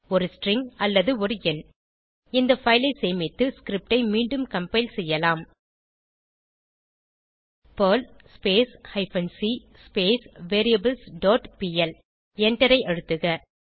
ஒரு ஸ்ட்ரிங் அல்லது ஒரு எண் இந்த பைல் ஐ சேமித்து ஸ்கிரிப்ட் ஐ மீண்டும் கம்பைல் செய்யலாம் Perl hyphen C variables dot PL எண்டரை அழுத்துக